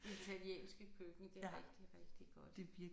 Italienske køkken det er rigtig rigtig godt